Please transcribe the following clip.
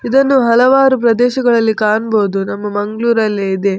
ಇದನ್ನು ಹಲವಾರು ಪ್ರದೇಶಗಳಲ್ಲಿ ಕಾಣ್‌ಬಹುದು ನಮ್ಮ ಮಂಗ್ಳೂರಲ್ಲಿ ಇದೆ.